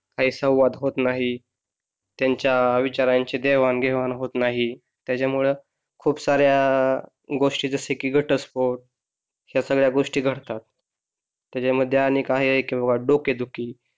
काही संवाद होत नाही त्यांच्या विचारांची देवाणघेवाण होत नाही त्याच्यामुळं खूप साऱ्या गोष्टी जस की घटस्फोट या सगळ्या गोष्टी घडतात त्याच्यामध्ये अनेक आहे किंवा डोकेदुखी